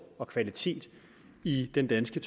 og kvalitet i den danske